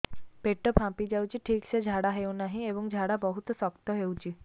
ପେଟ ଫାମ୍ପି ଯାଉଛି ଠିକ ସେ ଝାଡା ହେଉନାହିଁ ଏବଂ ଝାଡା ବହୁତ ଶକ୍ତ ହେଉଛି